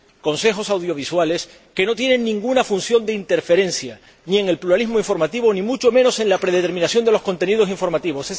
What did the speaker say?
consejos audiovisuales que no tienen ninguna función de interferencia ni en el pluralismo informativo ni mucho menos en la predeterminación de los contenidos informativos.